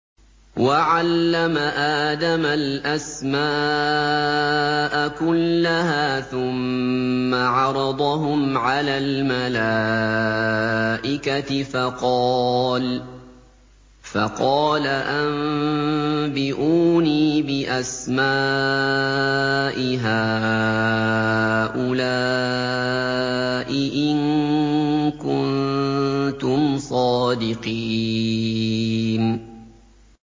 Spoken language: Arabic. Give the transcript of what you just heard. وَعَلَّمَ آدَمَ الْأَسْمَاءَ كُلَّهَا ثُمَّ عَرَضَهُمْ عَلَى الْمَلَائِكَةِ فَقَالَ أَنبِئُونِي بِأَسْمَاءِ هَٰؤُلَاءِ إِن كُنتُمْ صَادِقِينَ